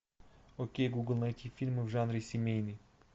окей гугл найти фильмы в жанре семейный